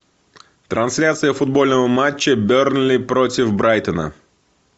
трансляция футбольного матча бернли против брайтона